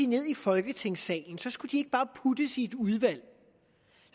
ned i folketingssalen så skulle de ikke bare puttes i et udvalg